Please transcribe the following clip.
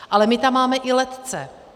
Ale my tam máme i letce.